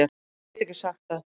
Ég get ekki sagt það